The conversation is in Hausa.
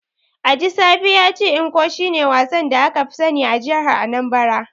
Ajisafe ya ce Ncho shine wasan da aka fi sani a jihar Anambra.